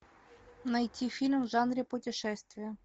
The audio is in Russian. найти фильм в жанре путешествия